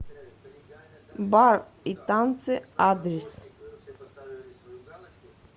бар и танцы адрес